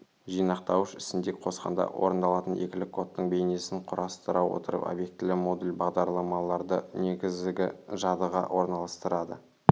жинақтауыш ісіне қосқанда орындалатын екілік кодтың бейнесін құрастыра отырып обьектілі модуль бағдарламаларды негізгі жадыға орналастырады